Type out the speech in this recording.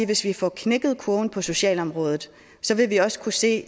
hvis vi får knækket kurven på socialområdet vil vi også kunne se